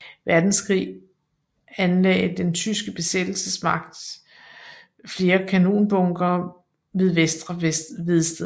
Verdenskrig anlagde den tyske besættelsesmagt flere kanonbunkere ved Vester Vedsted